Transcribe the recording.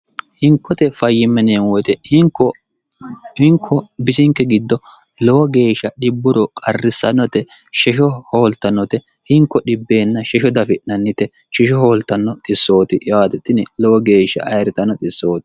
hinkote fayyimmeneemu woyite hinko bisinke giddo lowo geeshsha dhibburo qarrissannote shesho hooltannote hinko dhbn shesho dafi'nannite shesho hooltanno xissooti yaati tini lowo geeshsha ayirritnno issooti